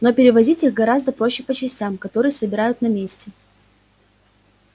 но перевозить их гораздо проще по частям которые собирают на месте